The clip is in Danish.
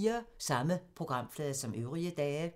Samme programflade som øvrige dage